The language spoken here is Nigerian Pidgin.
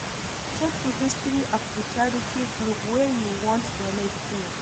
Check di history of di charity group wey you wan donate to